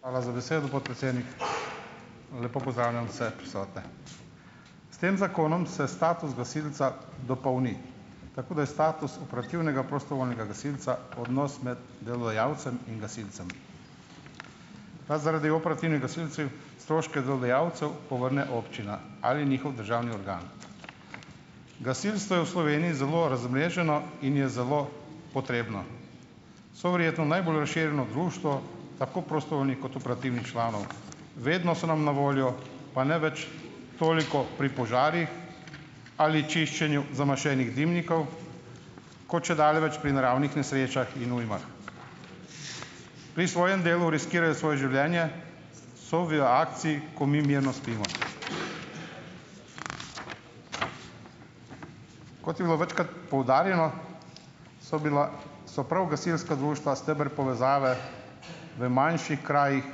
Hvala za besedo, podpredsednik. Lepo pozdravljam vse prisotne! S tem zakonom se status gasilca dopolni, tako da je status operativnega prostovoljnega gasilca odnos med delodajalcem in gasilcem. Ta zaradi operativnih gasilcev stroške delodajalcev povrne občina ali njihov državni organ. Gasilstvo je v Sloveniji zelo razmreženo in je zelo potrebno. So verjetno najbolj razširjeno društvo, tako prostovoljnih kot operativnih članov, vedno so nam na voljo, pa ne več toliko pri požarih ali čiščenju zamašenih dimnikov, kot čedalje več pri naravnih nesrečah in ujmah. Pri svojem delu riskirajo svoj življenje, so v akciji, ko mi mirno spimo. Kot je bilo večkrat poudarjeno, so bila so prav gasilska društva steber povezave v manjših krajih,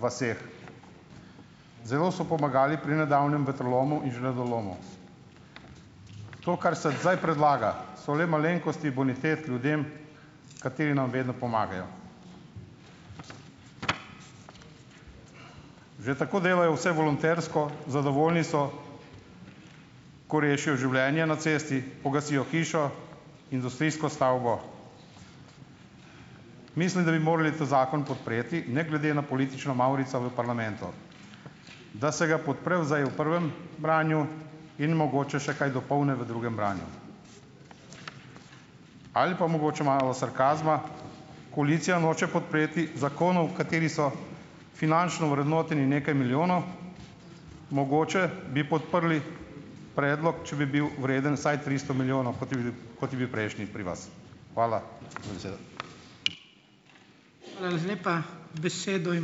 vaseh. Zelo so pomagali pri nedavnem vetrolomu in žledolomu. To kar se zdaj predlaga, so le malenkosti bonitet ljudem, kateri nam vedno pomagajo. Že tako delajo vse volontersko, zadovoljni so, ko rešijo življenje na cesti, pogasijo hišo, industrijsko stavbo. Mislim, da bi morali ta zakon podpreti ne glede na politično mavrico v parlamentu, da se ga podpre v zdaj v prvem branju in mogoče še kaj dopolni v drugem branju. Ali pa mogoče malo sarkazma, koalicija noče podpreti zakonov, kateri so finančno vrednoteni nekaj milijonov, mogoče bi podprli predlog, če bi bil vreden vsaj tristo milijonov, kot je bil kot je bil prejšnji pri vas. Hvala za besedo.